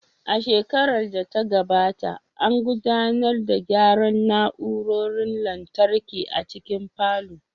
A shekarar da ta gabata, an gudanar da gyara na'urorin lantarki a cikin falon